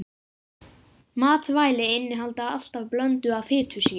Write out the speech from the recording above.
Matvæli innihalda alltaf blöndu af fitusýrum.